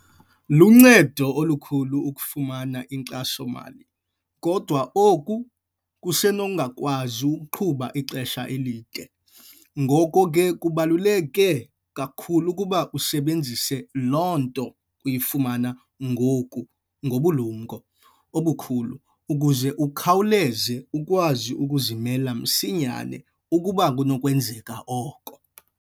Luncedo olukhulu ukufumana iinkxaso-mali, kodwa oku kusenokungakwazi ukuqhuba ixesha elide. Ngoko ke, kubaluleke kakhulu ukuba usebenzise loo nto uyifumana ngoku ngobulumko obukhulu ukuze ukhawuleze ukwazi ukuzimela msinyane ukuba kunokwenzeka oko.